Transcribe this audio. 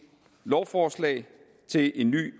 lovforslag til en ny